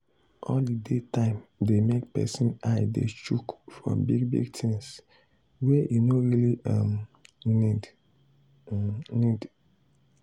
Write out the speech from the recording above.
holiday time dey make person eye dey chook for big big things wey e no really um need um need